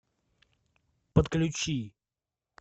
подключи